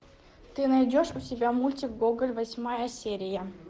ты найдешь у себя мультик гоголь восьмая серия